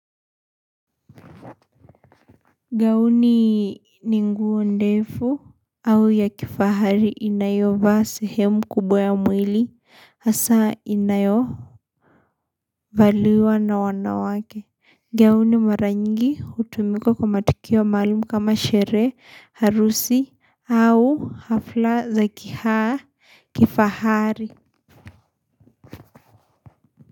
Gauni ni nguo ndefu au ya kifahari inayovaa sehemu kubwa ya mwili hasa inayo valiwa na wanawake gauni mara nyingi hutumika kwa matukio maalum kama sherehe harusi au hafla za kihaa kifahari.